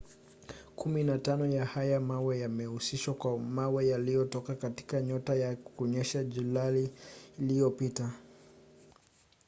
kumi na tano ya haya mawe yamehusishwa kwa mawe yaliyotoka katika nyota na kunyesha julai iliyopita